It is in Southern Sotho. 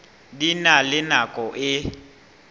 di na le nako e